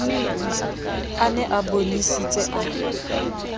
a ne a bonesitse a